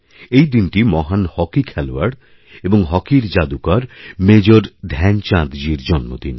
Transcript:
এইদিনটি মহান হকি খেলোয়াড় এবং হকির জাদুকর মেজর ধ্যানচাঁদজীর জন্মদিন